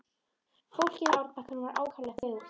Fólkið á árbakkanum var ákaflega þögult.